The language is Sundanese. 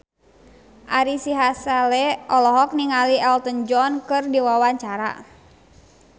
Ari Sihasale olohok ningali Elton John keur diwawancara